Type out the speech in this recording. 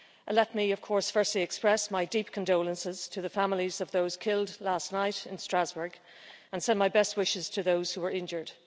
Let me of course first express my deep condolences to the families of those killed last night in Strasbourg and send my best wishes to those who were injured.